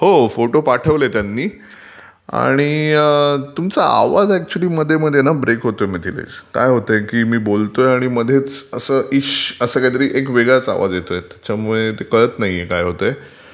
हो फोटो पाठवले त्यांनी आणि ....तुमचा आवाज ऍक्च्युली मध्ये मध्ये ना ब्रेक होतोय मिथिलेश, मी बोलतोय आणि मध्येच असं इश्श...असा काहीतरी वेगळाचं आवाज येतोय त्यामुळे ते कळतं नाहीये काय होतयं...तुम्हाला येतोय का माझा आवाज...